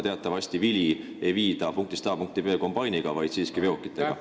Teatavasti ei viida vilja punkist A punkti B kombainiga, vaid siiski veokitega.